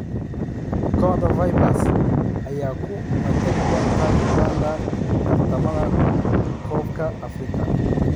Kooxda Vipers ayaa u matali doonta Uganda tartamada koobka Afrika.